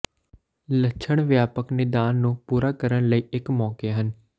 ਲੱਛਣ ਵਿਆਪਕ ਨਿਦਾਨ ਨੂੰ ਪੂਰਾ ਕਰਨ ਲਈ ਇੱਕ ਮੌਕੇ ਹਨ